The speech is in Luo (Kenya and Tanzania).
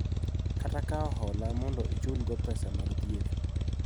Kata kawo hola mondo ichulgo pesa mag thieth .